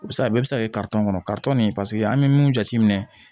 O bɛ se ka bɛɛ bɛ se ka kɛ kɔnɔ nin an bɛ mun jate minɛ